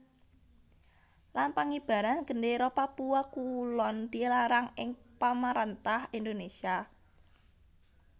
Lan Pangibaran gendéra papua kulon dilarang ing pamaréntah Indonésia